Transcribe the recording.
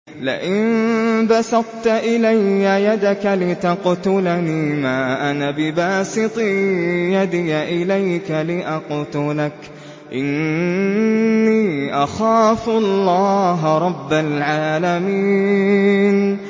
لَئِن بَسَطتَ إِلَيَّ يَدَكَ لِتَقْتُلَنِي مَا أَنَا بِبَاسِطٍ يَدِيَ إِلَيْكَ لِأَقْتُلَكَ ۖ إِنِّي أَخَافُ اللَّهَ رَبَّ الْعَالَمِينَ